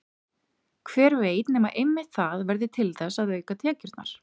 Hver veit nema einmitt það verði til þess að auka tekjurnar?